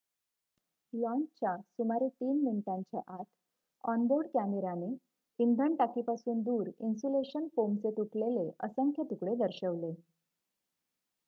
लाँचच्या सुमारे 3 मिनिटांच्या आत ऑन-बोर्ड कॅमेराने इंधन टाकीपासून दूर इन्सुलेशन फोमचे तुटलेले असंख्य तुकडे दर्शविले